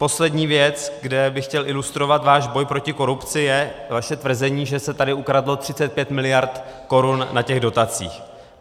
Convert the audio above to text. Poslední věc, kde bych chtěl ilustrovat váš boj proti korupci, je vaše tvrzení, že se tady ukradlo 35 miliard korun na těch dotacích.